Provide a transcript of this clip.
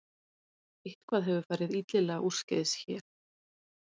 Eitthvað hefur farið illilega úrskeiðis hér